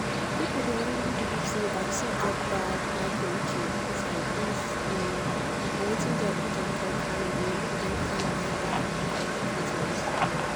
some people believe say vaccine dey cause long-time sickness especially people wey get strong belief and e dey make dem delay go hospital